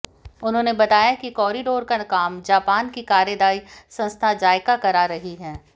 उन्होंने बताया कि कॉरिडोर का काम जापान की कार्यदायी संस्था जायका करा रही है